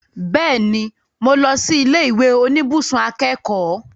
Bẹ́ẹ̀ni, mo lọ sí ilé ìwé oníbùsùn akẹ́kọ̀ọ́